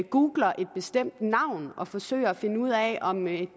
googler et bestemt navn og forsøger at finde ud af om en